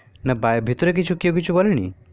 না বাই ভিতরে কেও কিছু বলেনি